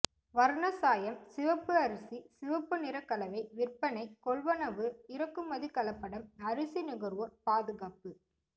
வர்ணச் சாயம் சிவப்பு அரிசி சிவப்பு நிற கலவை விற்பனை கொள்வனவு இறக்குமதி கலப்படம் அரிசி நுகர்வோர் பாதுகாப்பு